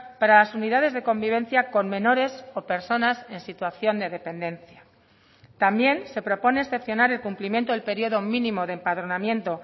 para las unidades de convivencia con menores o personas en situación de dependencia también se propone excepcionar el cumplimiento del periodo mínimo de empadronamiento